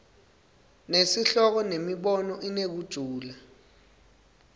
nesihloko nemibono inekujula